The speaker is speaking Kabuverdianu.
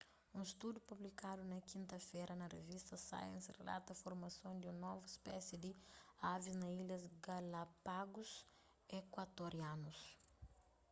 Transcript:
un studu publikadu na kinta-fera na revista science rilata formason di un novu spési di avis na ilhas galápagus ekuatorianus